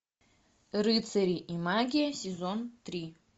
рыцари и магия сезон три